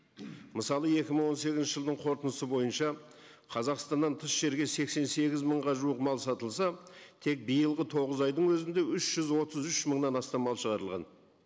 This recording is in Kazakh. мысалы екі мың он сегізінші жылдың қорытындысы бойынша қазақстаннан тыс жерге сексен сегіз мыңға жуық мал сатылса тек биылғы тоғыз айдың өзінде үш жүз отыз үш мыңнан астам мал шығарылған